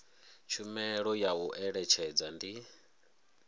tshumelo ya u eletshedza ndi